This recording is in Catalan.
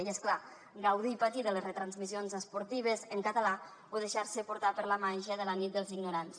i és clar gaudir i patir de les retransmissions esportives en català o deixar se portar per la màgia de la nit dels ignorants